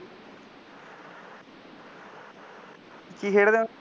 ਕੀ ਖੇਡਦੇ ਹੋ